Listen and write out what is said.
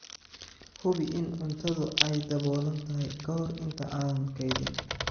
Hubi in cuntadu ay daboolan tahay ka hor inta aanad kaydin.